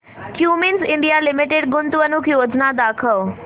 Cummins India Limited गुंतवणूक योजना दाखव